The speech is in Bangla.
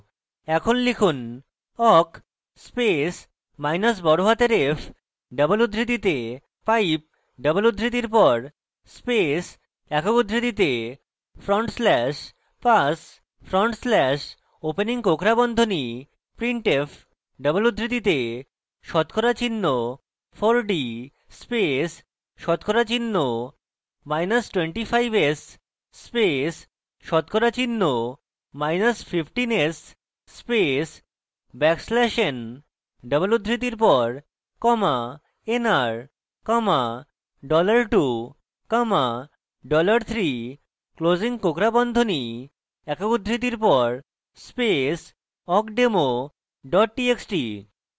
এখন লিখুন awk space মাইনাস বড়হাতের f double উদ্ধৃতিতে pipe double উদ্ধৃতির pass space awk উদ্ধৃতিতে front slash pass front slash opening কোঁকড়া বন্ধনী printf double উদ্ধৃতিতে শতকরা চিহ্ন 4d space শতকরা চিহ্ন মাইনাস 25s space শতকরা চিহ্ন minus 15s space backslash n double উদ্ধৃতির pass nr $2 $3 closing কোঁকড়া বন্ধনী awk উদ্ধৃতির pass space awkdemo double txt